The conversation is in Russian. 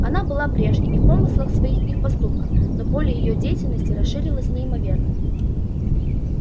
она была прежней и в помыслах своих и в поступках но поле её деятельности расширилось неимоверно